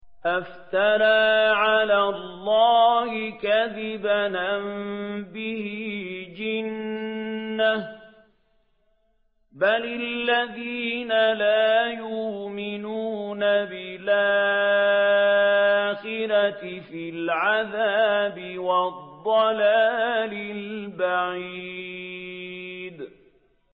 أَفْتَرَىٰ عَلَى اللَّهِ كَذِبًا أَم بِهِ جِنَّةٌ ۗ بَلِ الَّذِينَ لَا يُؤْمِنُونَ بِالْآخِرَةِ فِي الْعَذَابِ وَالضَّلَالِ الْبَعِيدِ